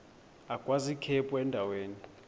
agwaz ikhephu endaweni